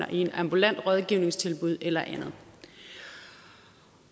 i et ambulant rådgivningstilbud eller andet